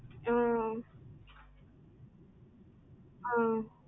ஆஹ் ஆஹ்